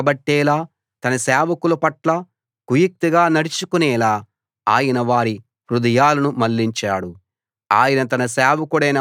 తన ప్రజలపై పగబట్టేలా తన సేవకుల పట్ల కుయుక్తిగా నడుచుకునేలా ఆయన వారి హృదయాలను మళ్ళించాడు